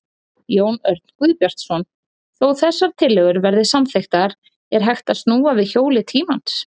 Jón Örn Guðbjartsson: Þó þessar tillögur verði samþykktar, er hægt að snúa við hjóli tímans?